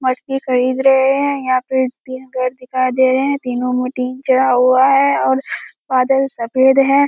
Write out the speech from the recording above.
मटकी खरीद रहे हैं यहाँ पे तीन पेड़ दिखाए दे रहे हैं तीनो मैं चढ़ा हुवा हैं और बादल सफ़ेद हैं।